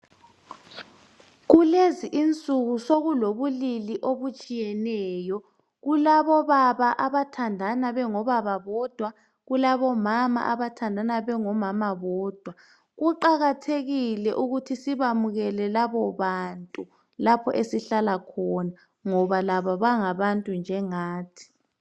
Kulezi insuku sokulobulili obutshiyeneyo, kulabobaba abathandana bengobobaba bodwa, kulabo mama abathandana bengo mama bodwa. Kuqakathekile ukuthi sibamukele labo bantu lapho esihlala khona ngoba labo bangabantu njengathi.